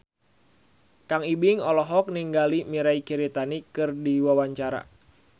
Kang Ibing olohok ningali Mirei Kiritani keur diwawancara